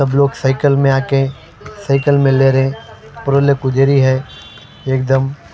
सब लोग साइकिल में आके साइकिल में ले रहे है रोलक उधर ही है एक दम--